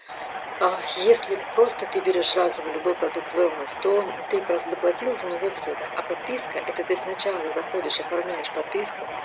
аа если просто ты берёшь разово любой продукт веллнес то ты просто заплатила за него и все да а подписка это ты сначала заходишь оформляешь подписку